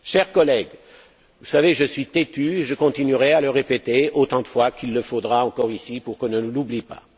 Chers collègues, vous savez que je suis têtu et je continuerai à le répéter autant de fois qu'il le faudra, encore ici, pour qu'on ne l'oublie pas.